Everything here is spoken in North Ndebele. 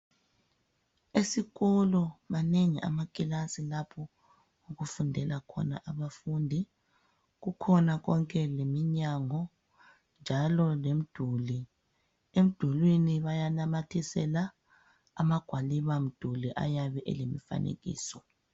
Esikolo manengi amakilasi lapho okufundela khona abafundi kukhona konke leminyango njalo lemduli emdulwini bayanamathisela amagwaliba mduli ayabe elemifanekiso .